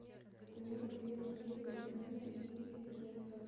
прямой эфир манчестер юнайтед и эвертон